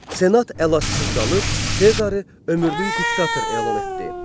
Senat əlacı qalıb Sezarı ömürlük diktator elan etdi.